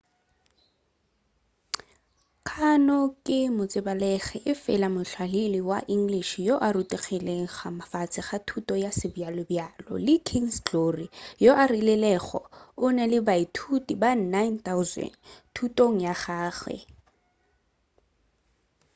karno ke motsebalegi efela mohlahli wa english yoo a rutilego ka fase ga thuto ya sebjalobjalo le king's glory yoo a rilego o na le baithuti ba 9,000 thutong ya gagwe